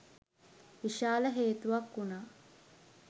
විශාල හේතුවක් වුණා.